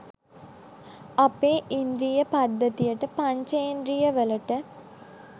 අපේ ඉන්ද්‍රිය පද්ධතියට පංචෙන්ද්‍රියවලට